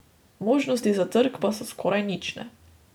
Možnosti za trk pa so skoraj nične.